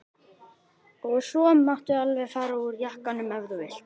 Og svo máttu alveg fara úr jakkanum ef þú vilt.